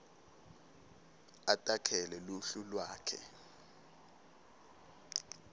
atakhele luhlu lwakhe